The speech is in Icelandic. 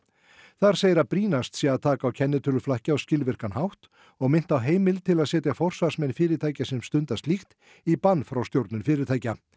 þar segir að brýnast sé að taka á kennitöluflakki á skilvirkan hátt og minnt á heimild til að setja forsvarsmenn fyrirtækja sem stunda slíkt í bann frá stjórnun fyrirtækja